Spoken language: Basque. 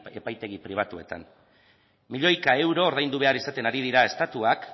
epaitegi pribatuetan milioika euro ordaindu behar izaten ari dira estatuek